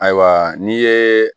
Ayiwa n'i ye